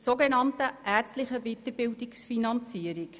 Es geht um die sogenannte ärztliche Weiterbildungsfinanzierung.